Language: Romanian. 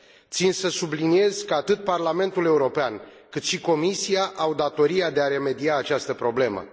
Țin să subliniez că atât Parlamentul European, cât și Comisia au datoria de a remedia această problemă.